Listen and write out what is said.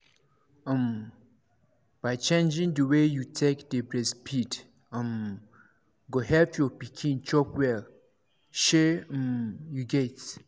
um by changing the way you take dey breastfeed um go help your pikin chop well shey um you get